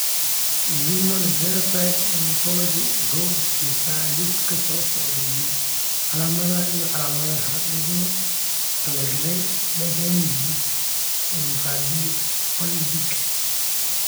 The Human Phenotype Ontology waxay bixisaa liiska soo socda ee calaamadaha iyo calaamadaha loogu talagalay dysgenesis Infundibulopelvic.